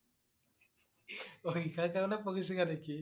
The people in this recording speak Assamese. অ' লিখাৰ কাৰণে পঢ়িছিলা নেকি?